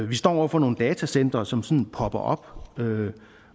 vi står over for nogle datacentre som sådan popper op og